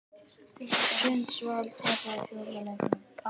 Sundsvall tapaði fjórða leiknum